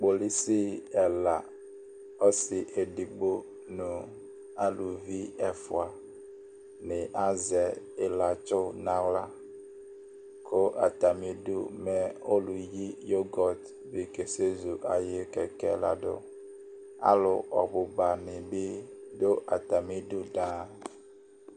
Kpolusi ɛla Ɔsi edigbo, nu aluvi ɛfua ni azɛ ilatsu naɣlaKʋ atamidu mɛ ɔluyi yogot bi kasɛzu ayiʋ kɛkɛɛ ladʋAlu ɔbuba nibi dʋ atamidu daaa